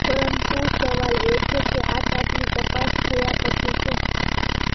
પરંતુ સવાલ એ છે કે આટઆટલી તપાસ થયા પછી શું